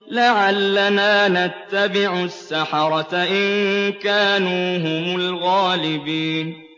لَعَلَّنَا نَتَّبِعُ السَّحَرَةَ إِن كَانُوا هُمُ الْغَالِبِينَ